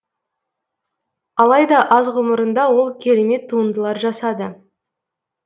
алайда аз ғұмырында ол керемет туындылар жасады